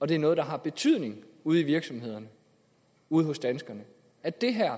det er noget der har betydning ude i virksomhederne ude hos danskerne og at det her